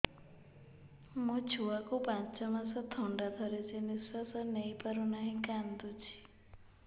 ମୋ ଛୁଆକୁ ପାଞ୍ଚ ମାସ ଥଣ୍ଡା ଧରିଛି ନିଶ୍ୱାସ ନେଇ ପାରୁ ନାହିଁ କାଂଦୁଛି